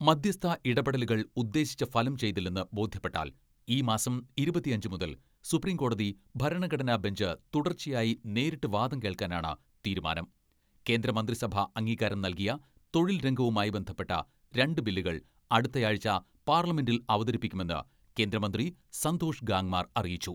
മധ്യസ്ഥ ഇടപെടലുകൾ ഉദ്ദേശിച്ച ഫലം ചെയ്തില്ലെന്ന് ബോധ്യപ്പെട്ടാൽ ഈ മാസം ഇരുപത്തിയഞ്ച് മുതൽ സുപ്രീംകോടതി ഭരണഘടനാ ബെഞ്ച് തുടർച്ചയായി നേരിട്ട് വാദം കേൾക്കാനാണ് തീരുമാനം കേന്ദ്രമന്ത്രിസഭ അംഗീകാരം നൽകിയ തൊഴിൽ രംഗവുമായി ബന്ധപ്പെട്ട രണ്ട് ബില്ലുകൾ അടുത്തയാഴ്ച പാർലമെന്റിൽ അവതരിപ്പിക്കുമെന്ന് കേന്ദ്ര മന്ത്രി സന്തോഷ് ഗാങ്മാർ അറിയിച്ചു.